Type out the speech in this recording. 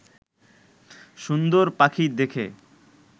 সুন্দর পাখি দেখে